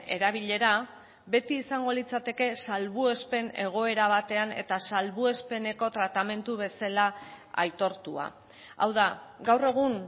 erabilera beti izango litzateke salbuespen egoera batean eta salbuespeneko tratamendu bezala aitortua hau da gaur egun